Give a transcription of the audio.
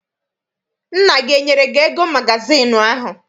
Nna gị enyere gị ego magazịịnụ ahụ?